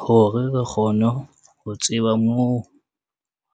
Hore re kgone ho tseba moo